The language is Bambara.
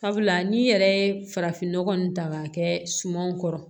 Sabula n'i yɛrɛ ye farafin nɔgɔ nin ta k'a kɛ sumanw kɔrɔ